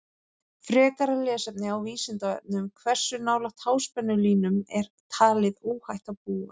Frekara lesefni á Vísindavefnum: Hversu nálægt háspennulínum er talið óhætt að búa?